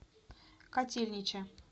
котельнича